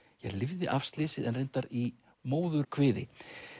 lifði af slysið en reyndar í móðurkviði